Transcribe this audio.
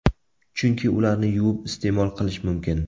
Chunki ularni yuvib iste’mol qilish mumkin.